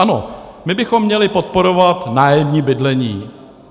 Ano, my bychom měli podporovat nájemní bydlení.